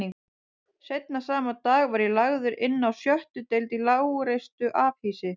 Seinna sama dag var ég lagður inná sjöttu deild í lágreistu afhýsi